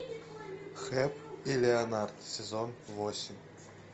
хэп и леонард сезон восемь